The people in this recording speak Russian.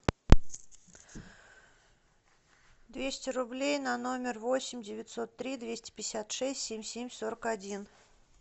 двести рублей на номер восемь девятьсот три двести пятьдесят шесть семь семь сорок один